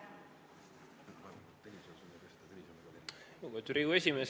Lugupeetud Riigikogu esimees!